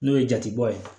N'o ye jatebɔ ye